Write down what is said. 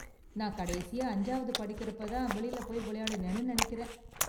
நான் கடைசியா அஞ்சாவது படிக்குறப்ப தான் வெளில போய் விளையாடுனேன்னு நினைக்கிறேன்.